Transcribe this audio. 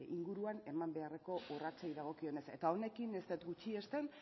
inguruan eman beharreko urratsei dagokionez eta honekin ez dut gutxiesten